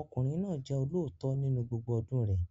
Ọkùnrin náà jẹ́ olóòótọ́ nínú gbogbo ọdún rẹ̀